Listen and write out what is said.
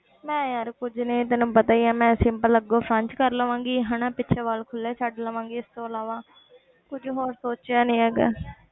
ਮੈਂ ਯਾਰ ਕੁੱਝ ਨੀ ਤੈਨੂੰ ਪਤਾ ਹੀ ਹੈ ਮੈਂ simple ਅੱਗੋਂ ਕਰ ਲਵਾਂਗੀ ਹਨਾ ਪਿੱਛੋਂ ਵਾਲ ਖੁੱਲੇ ਛੱਡ ਲਵਾਂਗੀ ਇਸ ਤੋਂ ਇਲਾਵਾ ਕੁੱਝ ਹੋਰ ਸੋਚਿਆ ਨੀ ਹੈਗਾ।